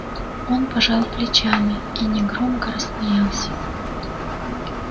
он пожал плечами и негромко рассмеялся